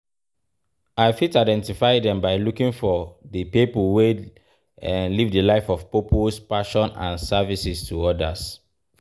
I fit identify dem by looking for di people wey live di life of purpose, passion and services to odas.